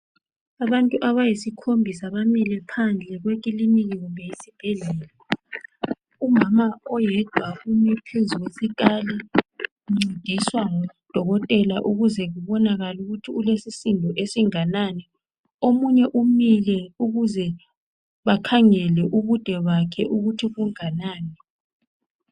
Abantu abayisikhombisa bamile phandle kwekiliniki kumbe yisibhedlela, umama oyedwa ume phezu kwesikali uncediswa ngudokotela ukuze kubonakale ukuthi ulesisindo esinganani, omunye umile ukuze bakhangele ubude bakhe ukuthi bunganani.